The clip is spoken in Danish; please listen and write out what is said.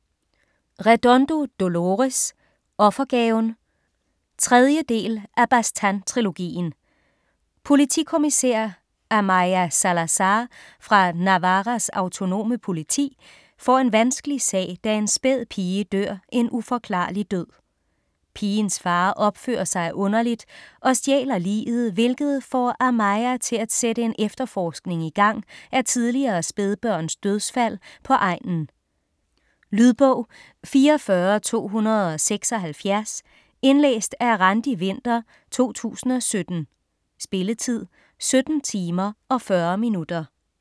Redondo, Dolores: Offergaven 3. del af Baztán-trilogien. Politikommissær Amaia Salazar fra Navarras autonome politi får en vanskelig sag, da en spæd pige dør en uforklarlig død. Pigens far opfører sig underligt og stjæler liget, hvilket får Amaia til at sætte en efterforskning igang af tidligere spædbørns dødsfald på egnen. Lydbog 44276 Indlæst af Randi Winther, 2017. Spilletid: 17 timer, 40 minutter.